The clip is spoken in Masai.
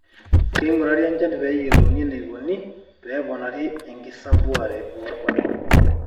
keingurari enchan pee eyiolouni eneikoni pee eponari enkikesare oorpaek